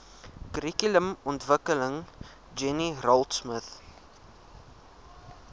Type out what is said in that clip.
kurrikulumontwikkeling jenny raultsmith